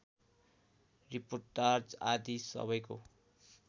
reportage आदि सबैको